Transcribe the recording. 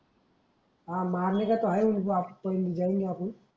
हा मारणे का है ऊनको आब पहिले जायेंगे अपून